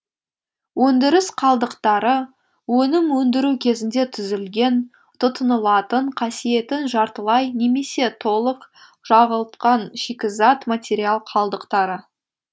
өндіріс қалдықтары өнім өндіру кезінде түзілген тұтынылатын қасиетін жартылай немесе толык жоғалтқан шикізат материал қалдықтары